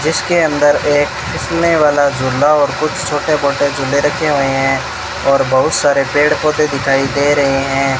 जिसके अंदर एक फिसलने वाला झूला और कुछ छोटे मोटे रखे हुए हैं और बहुत सारे पेड़ पौधे दिखाई दे रहे हैं।